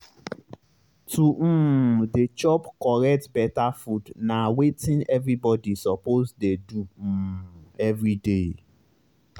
to um dey chop correct beta food na wetin everybody suppose dey do um everyday.